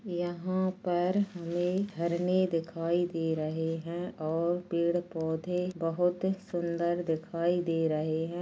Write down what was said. यहा पर ये झरने दिखाई दे रहे है और पेड पौधे बहुत सुंदर दिखाई दे रहे है।